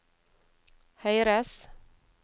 høyres